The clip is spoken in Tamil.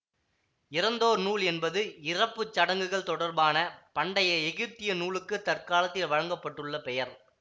இறந்தோர் நூல் என்பது இறப்பு சடங்குகள் தொடர்பான பண்டைய எகிப்திய நூலுக்குத் தற்காலத்தில் வழங்க பட்டுள்ள பெயர்